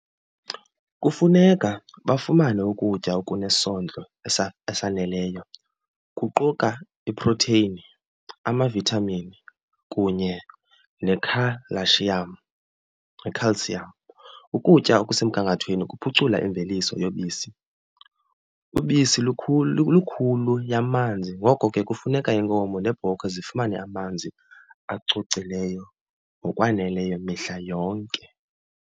Kufuneka bafumane ukutya okunesondlo esaneleyo kuquka iprotheyini, amavithamini, kunye nekhalashiyam, i-calcium. Ukutya okusemgangathweni kuphucula imveliso yobisi. Ubisi lukhulu lulukhulu yamanzi ngoko ke kufuneka iinkomo neebhokhwe zifumane amanzi acocileyo ngokwaneleyo mihla yonke.